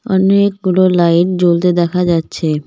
অনেকগুলো লাইট জ্বলতে দেখা যাচ্ছে।